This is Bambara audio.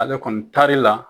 Ale kɔni taari la